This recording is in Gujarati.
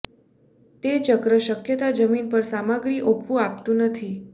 તે ચક્ર શક્યતા જમીન પર સામગ્રી ઓપવું આપતું નથી